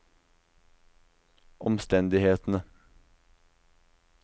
omstendighetene